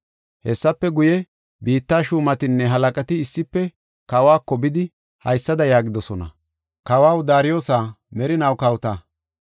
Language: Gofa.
Hessafe guye, biitta shuumatinne halaqati issife kawako bidi, haysada yaagidosona: “Kawaw Daariyosa, merinaw kawota!